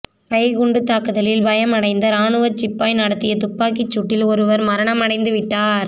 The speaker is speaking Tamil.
கைக்குண்டுத்தாக்குத்லில் பயம் அடைந்த ராணுவச்சிப்பாய் நடத்திய துப்பாக்கிச்சூட்டில் ஒருவர் மரணம் அடைந்து விட்டார்